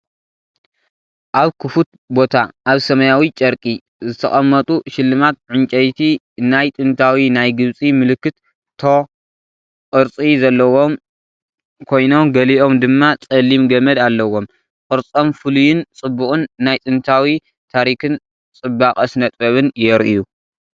ኣብ ክፉት ቦታ ኣብ ሰማያዊ ጨርቂ ዝተቐመጡ ሽልማት ዕንጨይቲ፣ ናይ ጥንታዊ ናይ ግብጺ ምልክት *ቶ* ቅርጺ ዘለዎም ኮይኖምገሊኦም ድማ ጸሊም ገመድ ኣለዎም። ቅርጾም ፍሉይን ጽቡቕን ፣ ናይ ጥንታዊ ታሪኽን ጽባቐ ስነ-ጥበብን የርእዩ።